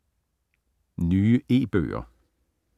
Nye e-bøger